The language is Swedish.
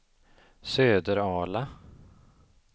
Söderala